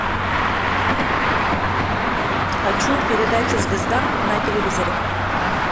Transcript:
хочу передачу звезда на телевизоре